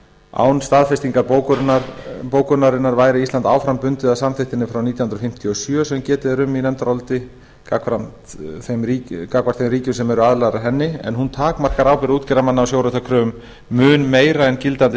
án staðfestingar bókunarinnar væri ísland áfram bundið af samþykktinni frá nítján hundruð fimmtíu og sjö sem getið er um í nefndaráliti gagnvart þeim ríkjum sem eru aðilar að henni en hún takmarkar ábyrgð útgerðarmanna á sjóréttarkröfum mun meira en gildandi